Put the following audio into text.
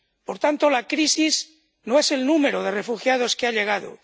Por tanto, la crisis no es el número de refugiados que han llegado.